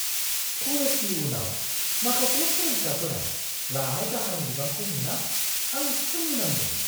कलेजनि उनाव माखासे सोलोंसाफोरा लानाय दाहारनि बिबांखौ नुना आं सोमोनांदों!